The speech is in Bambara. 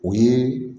O ye